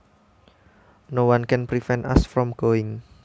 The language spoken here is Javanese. Noone can prevent us from going